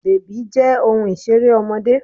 Bèbí jẹ́ ohun Ìṣeré ọmọdé